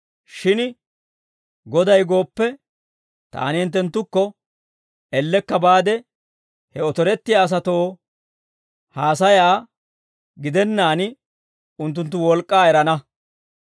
Shin Goday gooppe, taani hinttenttukko ellekka baade he otorettiyaa asatoo haasayaa gidennaan, unttunttu wolk'k'aa erana.